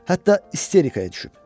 Hətta isterikaya düşüb.